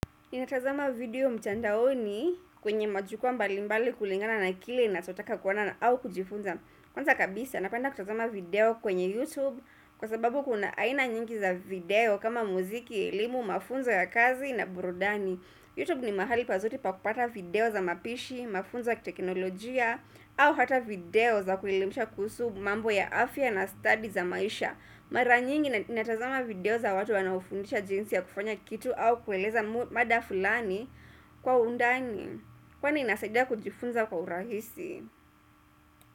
Inatazama video mtandaoni kwenye majukwaa mbali mbali kulingana na kile nachotaka kuona au kujifunza Kwanza kabisa napenda kutazama video kwenye YouTube kwa sababu kuna aina nyingi za video kama muziki, elimu, mafunzo ya kazi na burudani YouTube ni mahali pazuri pa kupata video za mapishi, mafunzo ya teknolojia au hata video za kuelemisha kuhusu mambo ya afya na stadi za maisha Maranyingi natazama video za watu wanaofundisha jinsi ya kufanya kitu au kueleza mada fulani kwa undani Kwani inasaida kujifunza kwa urahisi.